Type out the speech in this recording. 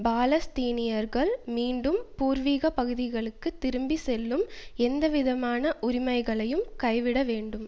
பாலஸ்தீனியர்கள் மீண்டும் பூர்வீக பகுதிகளுக்கு திரும்பி செல்லும் எந்தவிதமான உரிமைகளையும் கைவிட வேண்டும்